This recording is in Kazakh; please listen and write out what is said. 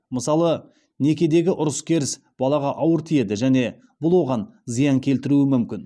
мысалы некедегі ұрыс керіс балаға ауыр тиеді жіне бұл оған зиян келтіруі мүмкін